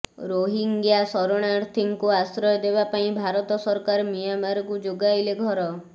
ରୋହିଙ୍ଗ୍ୟା ଶରଣାର୍ଥୀଙ୍କୁ ଆଶ୍ରୟ ଦେବା ପାଇଁ ଭାରତ ସରକାର ମିଆଁମାରକୁ ଯୋଗାଇଲେ ଘର